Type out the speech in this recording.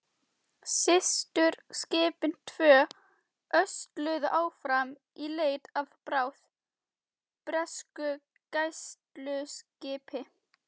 Systurskipin tvö ösluðu áfram í leit að bráð, bresku gæsluskipi.